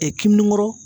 kinbingukɔrɔ